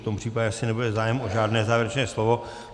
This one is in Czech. V tom případě asi nebude zájem o žádné závěrečné slovo.